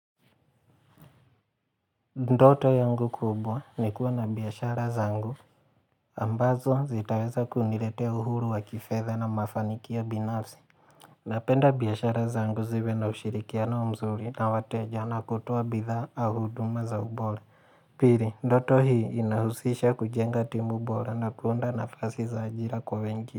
Ndoto yangu kubwa ni kuwa na biashara zangu. Ambazo zitaweza kuniletea uhuru wa kifedha na mafanikio binafsi. Napenda biashara zangu ziwe na ushirikiano mzuri na wateja na kutoa bidhaa au huduma za ubora. Pili, ndoto hii inahusisha kujenga timu bora na kuunda nafasi za ajira kwa wengi.